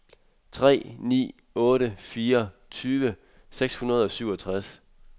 tre ni otte fire tyve seks hundrede og syvogtres